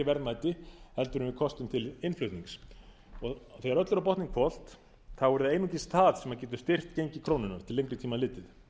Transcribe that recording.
verðmæti heldur en við kostum til innflutnings þegar öllu er á botninn hvolft er að einungis það sem getur styrkt gengi krónunnar til lengri tíma litið